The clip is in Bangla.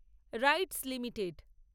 rights limited